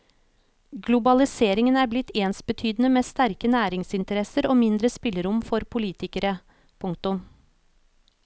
Globaliseringen er blitt ensbetydende med sterke næringsinteresser og mindre spillerom for politikere. punktum